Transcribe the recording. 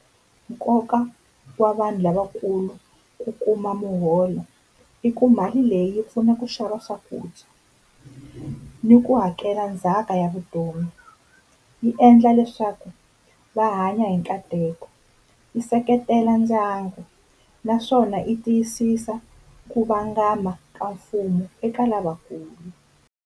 Nkoka wa vanhu lavakulu, i ku kuma muholo i ku mali leyi yi pfuna ku xava swakudya ni ku hakela ndzhaka ya vutomi yi endla leswaku va hanya hi nkateko. Yi seketela ndyangu naswona yi tiyisisa ku vangama ka mfumo eka lavakulu.